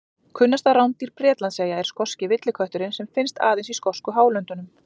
Kunnasta rándýr Bretlandseyja er skoski villikötturinn sem finnst aðeins í skosku hálöndunum.